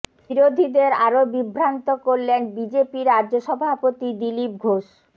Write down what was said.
বিরোধীদের আরও বিভ্রান্ত করলেন বিজেপি রাজ্য সভাপতি দিলীপ ঘোষ